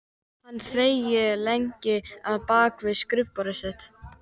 Hann þagði lengi á bak við skrifborðið sitt.